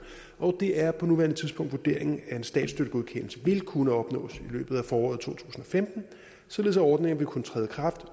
og det er på nuværende tidspunkt vurderingen at en statsstøttegodkendelse vil kunne opnås i løbet af foråret og femten således at ordningen vil kunne træde i kraft